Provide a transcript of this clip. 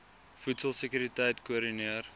voedsel sekuriteit koördineer